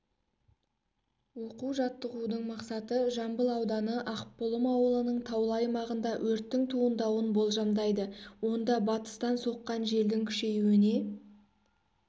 оқу-жаттығудың мақсаты жамбыл ауданы ақбұлым ауылының таулы аймағында өрттің туындауын болжамдайды онда батыстан соққан желдің күшеюіне